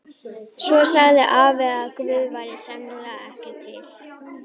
Svo sagði afi að Guð væri sennilega ekki til.